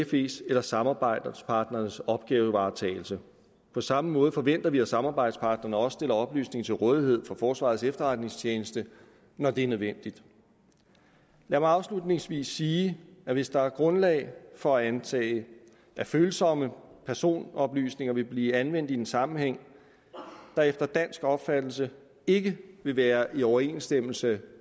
fes eller samarbejdspartnernes opgavevaretagelse på samme måde forventer vi at samarbejdspartnerne også stiller oplysninger til rådighed for forsvarets efterretningstjeneste når det er nødvendigt lad mig afslutningsvis sige at hvis der er grundlag for at antage at følsomme personoplysninger vil blive anvendt i en sammenhæng der efter dansk opfattelse ikke vil være i overensstemmelse